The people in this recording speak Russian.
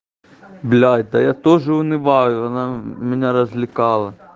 блядь да я тоже унываю она меня развлекала